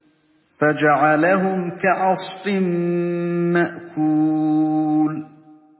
فَجَعَلَهُمْ كَعَصْفٍ مَّأْكُولٍ